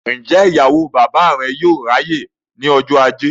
Ǹjẹ́ ìyàwó bàbá rẹ yóò ráyè ní ọjọ́ ajé?